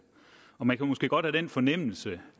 man kan måske godt have den fornemmelse